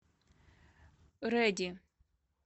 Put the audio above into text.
рэди